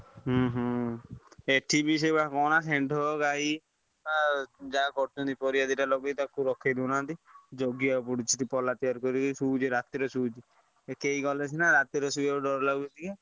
ହୁଁ ହୁଁ। ଏଠି ବି ସେଇ ବା ସେଣ୍ଢ ଗାଇ। ଆ ଯା କରୁଛନ୍ତି କରିବା ଦିଟା ଲଗେଇ ତାକୁ ରଖେଇ ଦେଉ ନାହାନ୍ତି। ଜଗିବାକୁ ପଡୁଛି ପଲା ତିଆରି କରିକି ଶୋଇଛି। ରାତି ରେ ଶୋଉଛି। ଏକେଇ ଗଲେ ସିନା ରାତିରେ ଶୋଇବାକୁ ଡର ଲାଗୁଛି କିଏ?